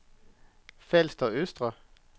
Falster Østre